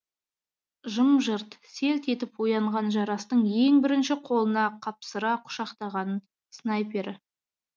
жым жырт селт етіп оянған жарастың ең бірінші қолына қапсыра құшақтағаны снайпері